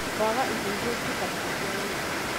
Kwaga indo irĩa cibatie cia ũrĩmi.